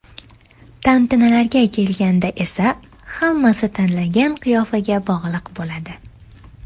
Tantanalarga kelganda esa, hammasi tanlangan qiyofaga bog‘liq bo‘ladi.